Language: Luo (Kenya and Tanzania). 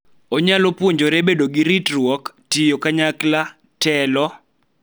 Onyalo puonjore bedo gi ritruok, tiyo kanyakla, telo